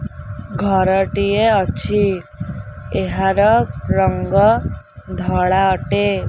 ଘରଟିଏ ଅଛି ଏହାର ରଙ୍ଗ ଧଳା ଅଟେ।